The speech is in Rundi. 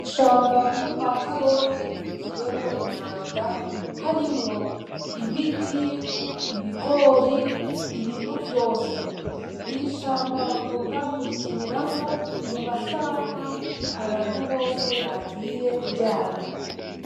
Ishamba ryo kwa Karori ryuzuyemwo umwanda, harimwo ibiti, ibigori, ibintu vyose. Iri shamba bakunda kurikiniramwo mu masaha abantu bose bagiye kuryama.